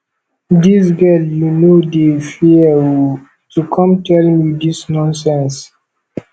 dis girl you no dey fear oo to come tell me dis nonsense